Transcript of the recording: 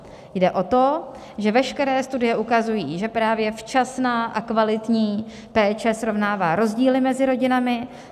Jde o to, že veškeré studie ukazují, že právě včasná a kvalitní péče srovnává rozdíly mezi rodinami.